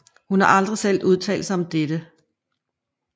Hun har aldrig selv udtalt sig om dette